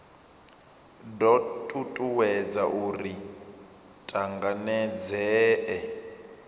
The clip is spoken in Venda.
do tutuwedza uri ri tanganedzee